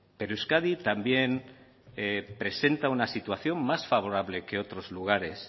pero euskadi también presenta una situación más favorable que otros lugares